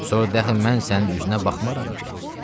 Sonra de əxi mən sənin üzünə baxmaram ki.